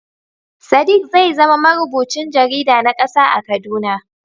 Sadiq zai zama marubucin jarida na kasa a Kaduna.